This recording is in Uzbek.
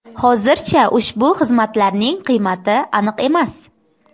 Hozircha ushbu xizmatlarning qiymati aniq emas.